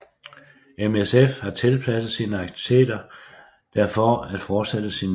MSF har tilpasset sine akitiviteter der for at fortsætte sin mission